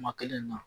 Kuma kelen na